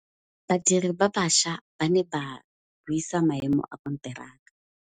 Badiri ba baša ba ne ba buisa maêmô a konteraka.